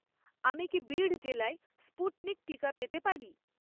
আমি কি বিড় জেলায় স্পুটনিক টিকা পেতে পারি?